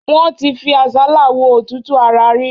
Wọ́n ti fi àsálà wo òtútù ara rí.